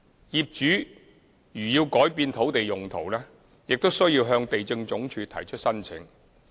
業主如要改變土地用途，須向地政總署提出申請。